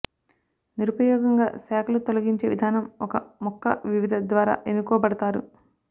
నిరుపయోగంగా శాఖలు తొలగించే విధానం ఒక మొక్క వివిధ ద్వారా ఎన్నుకోబడతారు